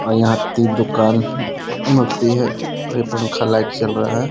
और यहाँ ती दुकान होती है और ये पंखा लाइट चल रहा है।